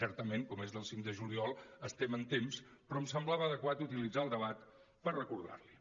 certament com és del cinc de juliol estem en temps però em semblava adequat utilitzar el debat per recordar li ho